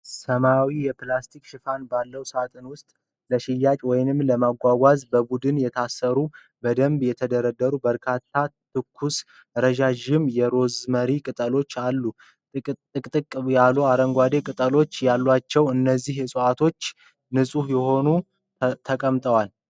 ሰማያዊ የፕላስቲክ ሽፋን ባለው ሣጥን ውስጥ ለሽያጭ ወይም ለመጓጓዣ በቡድን የታሰሩና በደንብ የተደረደሩ በርካታ ትኩስ፣ ረዣዥም የሮዝሜሪ ቀንበጦች አሉ። ጥቅጥቅ ያሉ አረንጓዴ ቅጠሎች ያሏቸው እነዚህ ዕፅዋት ንፁህ ሆነው ተቀምጠዋል።